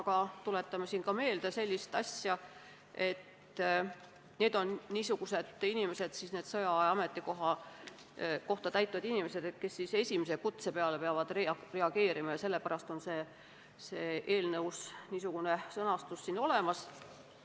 Aga tuletame siin meelde sellist asja, et sõjaaja ametikohta täitvad inimesed on niisugused inimesed, kes peavad reageerima esimese kutse peale, ja sellepärast on eelnõus ka niisugune sõnastus olemas.